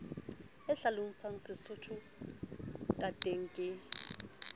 a hlalosang sesotho kateng ke